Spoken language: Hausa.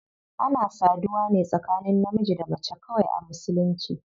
Ana saduwa ne tsakanin namiji da mace kawai a musulunci.